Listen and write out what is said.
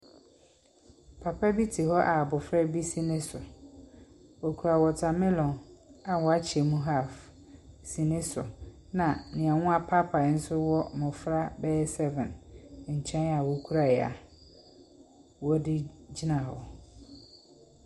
Papa bi te hɔ a abɔfra bi si ne so. Okura watermelon a wɔakyɛ mu half si ne so, na nea wɔapaapae nso a wɔ mbofra bɛyɛ seven nkyɛn a wokura a wɔde gyina hɔ.